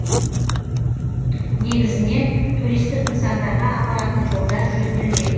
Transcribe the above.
негізінен туристік нысандарға апаратын жолдар жөнделмек